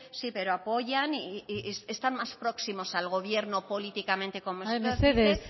sí pero apoyan y están más próximos al gobierno políticamente como mesedez